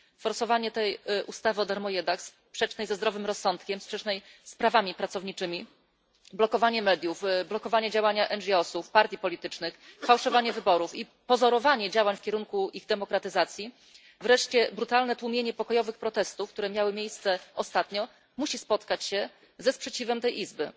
Forsowanie tej ustawy o sprzecznej ze zdrowym rozsądkiem, sprzecznej z prawami pracowniczymi, blokowanie mediów, blokowanie działania NGO sów, partii politycznych, fałszowanie wyborów i pozorowanie działań w kierunku ich demokratyzacji, wreszcie brutalne tłumienie pokojowych protestów, które miały miejsce ostatnio, musi spotkać się ze sprzeciwem tej Izby.